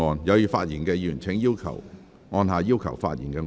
有意發言的議員請按"要求發言"按鈕。